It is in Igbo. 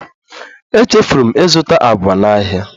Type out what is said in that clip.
Echefuru m ịzụta agwa n'ahịa